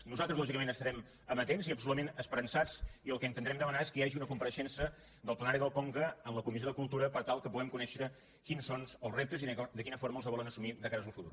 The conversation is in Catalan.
nosaltres lògicament estarem ama·tents i absolutament esperançats i el que intentarem demanar és que hi hagi una compareixença del plenari del conca en la comissió de cultura per tal que pu·guem conèixer quins són els reptes i de quina forma els volen assumir de cara al futur